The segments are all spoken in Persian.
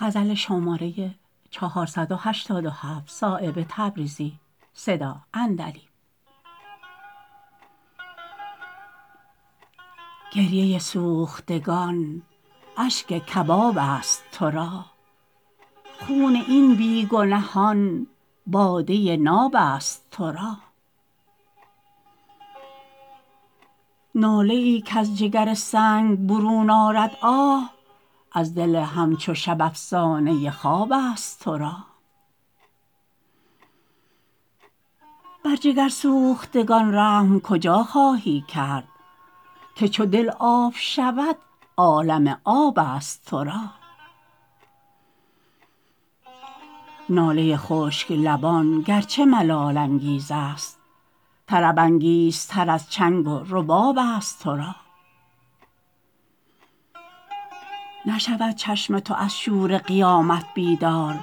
گریه سوختگان اشک کباب است ترا خون این بی گنهان باده ناب است ترا ناله ای کز جگر سنگ برون آرد آه از دل همچو شب افسانه خواب است ترا بر جگر سوختگان رحم کجا خواهی کرد که چو دل آب شود عالم آب است ترا ناله خشک لبان گرچه ملال انگیزست طرب انگیزتر از چنگ و رباب است ترا نشود چشم تو از شور قیامت بیدار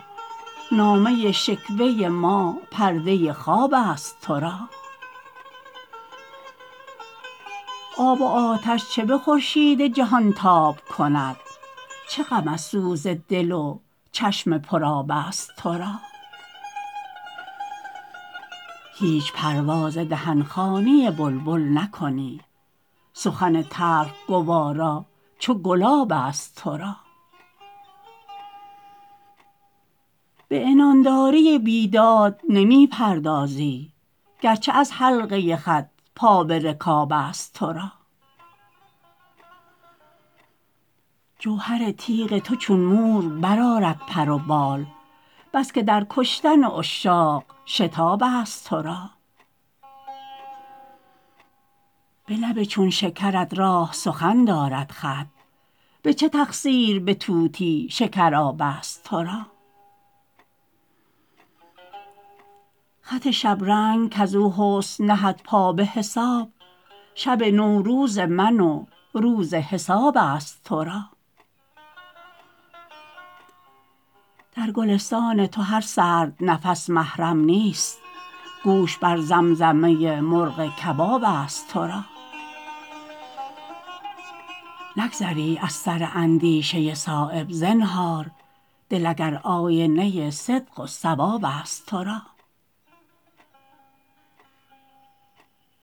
نامه شکوه ما پرده خواب است ترا آب و آتش چه به خورشید جهانتاب کند چه غم از سوز دل و چشم پر آب است ترا هیچ پروا ز دهن خوانی بلبل نکنی سخن تلخ گوارا چو گلاب است ترا به عنانداری بیداد نمی پردازی گرچه از حلقه خط پا به رکاب است ترا جوهر تیغ تو چون مور برآرد پر و بال بس که در کشتن عشاق شتاب است ترا به لب چون شکرت راه سخن دارد خط به چه تقصیر به طوطی شکراب است ترا خط شبرنگ کز او حسن نهد پا به حساب شب نوروز من و روز حساب است ترا در گلستان تو هر سرد نفس محرم نیست گوش بر زمزمه مرغ کباب است ترا نگذری از سر اندیشه صایب زنهار دل اگر آینه صدق و صواب است ترا